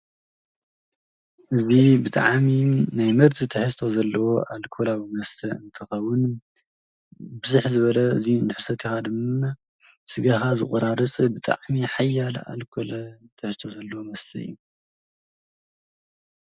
እዚ ብጣዕሚ ናይ መርዚ ትሕዝቶ ዘለዎ አልኮሊዊ መስተ እንትኸውን ብዝሕ ዝበለ እዙይ እንተሰቲካ ድማ ስጋካ ዝቆራርፅ ብጣዕሚ ሓያል አልኮል ዘለዎ መስተ እዩ ።